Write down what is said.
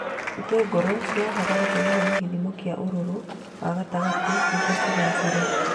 Itũngũrũ cibataraga tĩĩri wina gĩthĩmo kĩa ũrũrũ wa gatagatĩ niguo cigaacĩre